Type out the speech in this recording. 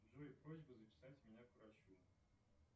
джой просьба записать меня к врачу